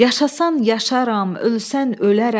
Yaşasan yaşaram, ölsən ölərəm.